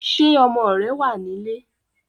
Ṣé ọmọ rẹ̀ wá nílé?